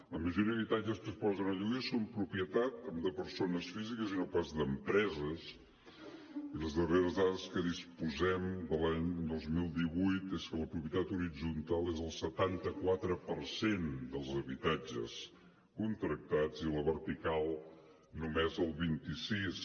la majoria d’habitatges que es posen a lloguer són propietat de persones físiques i no pas d’empreses i les darreres dades de què disposem de l’any dos mil divuit és que la propietat horitzontal és el setanta quatre per cent dels habitatges contractats i la vertical només el vint sis